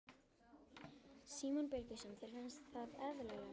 Símon Birgisson: Þér finnst það eðlilegt?